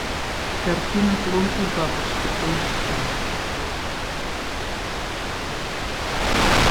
картина слон и бабочка поищи